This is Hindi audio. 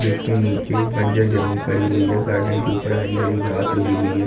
जीसके नीचे बंजर जमीन पड़ी हुई है। गार्डन के ऊपर हरी हरी घास उगी हुई है।